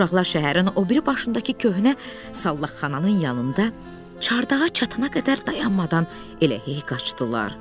Uşaqlar şəhərin o biri başındakı köhnə sallaqxananın yanında çardağa çatana qədər dayanmadan elə hey qaçdılar.